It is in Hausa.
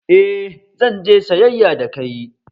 Eh, zan je sayyaya da kai